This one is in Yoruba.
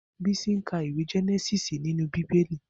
Bisi n kà iwé Jènèsìsí ninú Bibéli